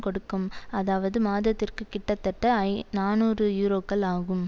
கொடுக்கும் அதாவது மாதத்திற்கு கிட்டத்தட்ட ஐ நாநூறு யூரோக்கள் ஆகும்